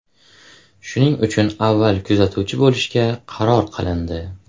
Shuning uchun avval kuzatuvchi bo‘lishga qaror qilindi.